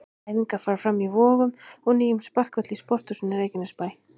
Æfingar fara fram í Vogum og nýjum sparkvelli í Sporthúsinu Reykjanesbæ.